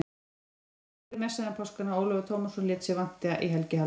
Síra Sigurður messaði um páskana, Ólafur Tómasson lét sig vanta í helgihaldið.